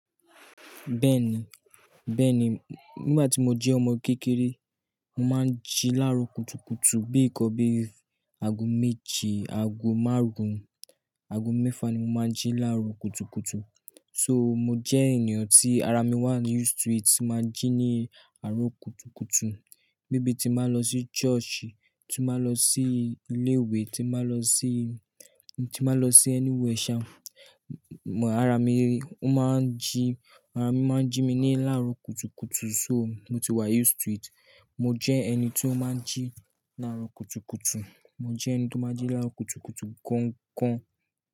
Bẹ́ẹ̀ni, bẹ́ẹ̀ni. Nígbà tí mo jẹ́ ọmọ kékeré, mo máa ń jí láárọ kùtùkùtù. Bí ikàn bíi ago méje, ago márùn, ago mẹ́fà ni mo máa ń jí láárọ kùtùkùtù. So mo jẹ́ ènìyàn tí ara mi wà used to it. Mo máa ń jí ní àárọ̀ kùtùkùtù. Bí, bí tí n máa lọ sí church, tí n máa lọ sí ilé ìwé, tí n máa lọ sí, tí n máa lọ sí anywhere sha, ara mi ó máa ń jí, ara mi máa ń jí mi ní láárọ kùtùkùtù. So mo ti wà used to it. Mo jẹ́ ẹni tí ó máa ń jí ní àárọ̀ kùtùkùtù. Mo jẹ́ ẹni tí ó máa ń jí láárọ kùtùkùtù gan gan.